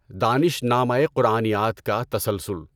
دانشنامۂ قرآنیات کا تسلسل